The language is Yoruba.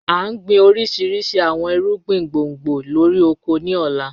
A n gbin orishirishi awọn irugbin gbongbo lori oko ni ọla.